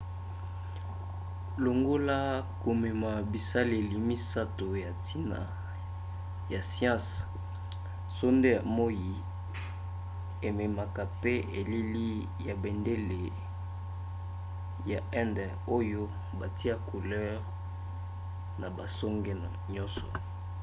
longola komema bisaleli misato ya ntina ya siansi sonde ya moi ememaka mpe elili ya bendele ya inde oyo batya couleur na basonge nyonso